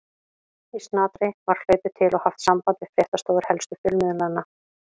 Í snatri var hlaupið til og haft samband við fréttastofur helstu fjölmiðlanna.